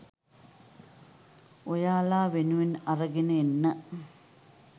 ඔයාලා වෙනුවෙන් අරගෙන එන්න